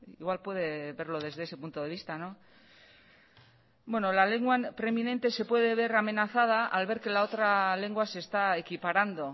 igual puede verlo desde ese punto de vista no bueno la lengua preeminente se puede ver amenazada al ver que la otra lengua se está equiparando